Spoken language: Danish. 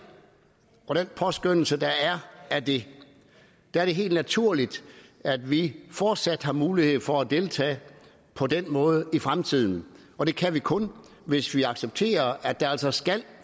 og den påskønnelse der er af det er det helt naturligt at vi fortsat har mulighed for at deltage på den måde i fremtiden og det kan vi kun hvis vi accepterer at der altså skal